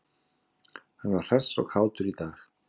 Hann var hress og kátur í dag.